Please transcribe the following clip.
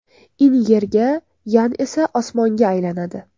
In Yerga, Yan esa osmonga aylanadi.